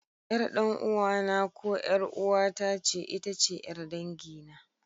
Ƴar ɗan'uwana ko ƴar'uwata ce itace ƴar dangina.